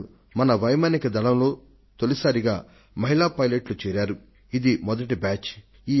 June 18 న భారతీయ వాయు సేన మొట్టమొదటి సారిగా మహిళా ఫైటర్ పైలట్ ల తొలి దళాన్ని తనలో చేర్చుకొంది